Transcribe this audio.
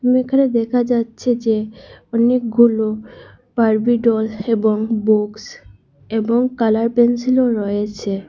এখানে দেখা যাচ্ছে যে অনেকগুলো বার্বি ডল এবং বুকস এবং কালার পেন্সিলও রয়েছে।